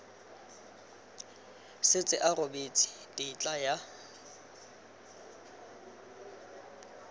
setse a rebotse tetla ya